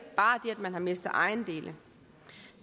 man har mistet ejendele